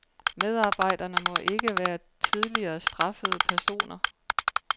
Medarbejderne må ikke være tidligere straffede personer.